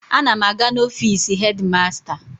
Ana m aga n'ofiisi hedi masta.